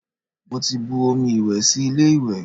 Mo ti bu omi ìwẹ̀ sí ilé ìwẹ̀